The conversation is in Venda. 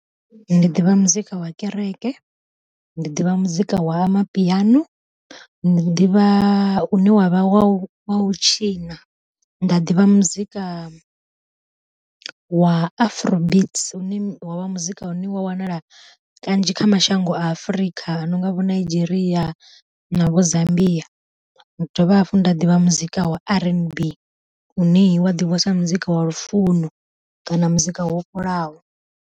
Ndi ḓivha muzika wa kereke, ndi ḓivha muzika wa mapiano, ndi ḓivha u ne wa vha wa wa u tshina nda ḓivha muzika wa Afrobeats une wa vha muzika une wa wanala kanzhi kha mashango a Afrika ano nga vho Nigeria na vho Zambia. Nda dovha hafhu nda ḓivha muzika wa R_N_B une wa ḓivhiwa sa muzika wa lufuno kana muzika wo fholaho.